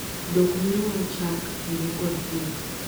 Dhok miyowa Chak, ring'o kod pien.